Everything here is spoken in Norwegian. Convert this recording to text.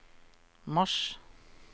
mars